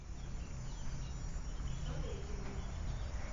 сорокиным